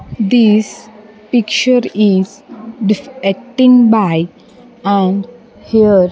This picture is defecting by and here --